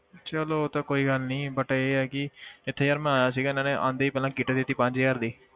ਚੱਲ ਉਹ ਤਾਂ ਕੋਈ ਗੱਲ ਨੀ but ਇਹ ਹੈ ਕਿ ਇੱਥੇ ਯਾਰ ਮੈਂ ਆਇਆ ਸੀਗਾ ਇਹਨਾਂ ਨੇ ਆਉਂਦੇ ਹੀ ਪਹਿਲਾਂ kit ਦੇ ਦਿੱਤੀ ਪੰਜ ਹਜ਼ਾਰ ਦੀ,